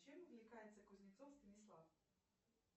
чем увлекается кузнецов станислав